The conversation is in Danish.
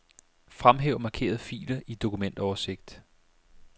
Fremhæv markerede filer i dokumentoversigt.